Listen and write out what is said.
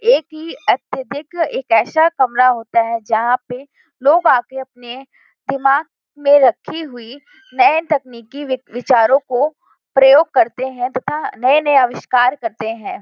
एक ही अत्यधिक एक ऐसा कमरा होता है जहाँ पे लोग आ के अपने दिमाग में रखी हुई नए तकनिकी वि विचारों को प्रयोग करते हैं तथा नए-नए आविष्कार करते हैं।